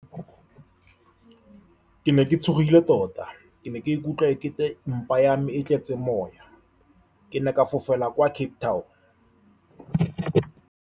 Ke ne ke tshogile tota. Ke ne ke ikutlwa ekete mpa ya me e tletse moya. Ke ne ke fofela kwa Cape Town.